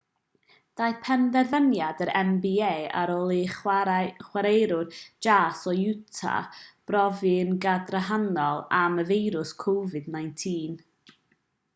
daeth penderfyniad yr nba ar ôl i chwaraewr jas o utah brofi'n gadarnhaol am y feirws covid-19